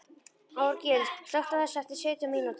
Árgils, slökktu á þessu eftir sautján mínútur.